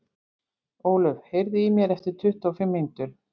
Ólöf, heyrðu í mér eftir tuttugu og fimm mínútur.